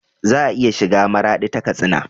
Za a iya shiga maradi ta katsina